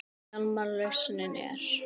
Hjálmar lausnin er.